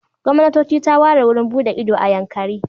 Gwamnatoci ta ware wurin buɗe ido a Yankari.